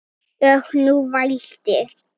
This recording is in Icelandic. Og nú vældi